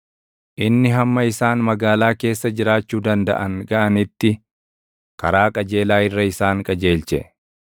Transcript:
Inni hamma isaan magaalaa keessa jiraachuu dandaʼan gaʼanitti karaa qajeelaa irra isaan qajeelche.